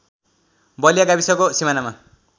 बलिया गाविसको सिमानामा